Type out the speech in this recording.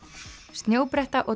snjóbretta og